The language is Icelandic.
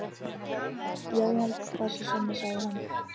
Já, ég held það sé svona, sagði hann.